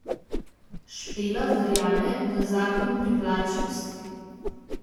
Špela verjame v zakon privlačnosti.